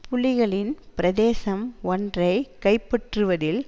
புலிகளின் பிரசேதம் ஒன்றை கைப்பற்றுவதில்